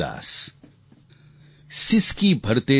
सिसकी भरते सावन का